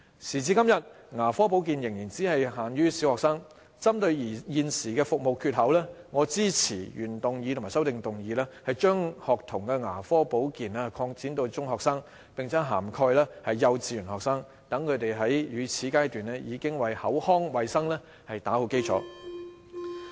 時至今日，牙科保健仍只限於小學生，針對現時的服務缺口，我支持原議案及修正案，將學童牙科保健擴展至中學生，並且涵蓋幼稚園學生，讓他們在乳齒階段，已為口腔衞生打好基礎。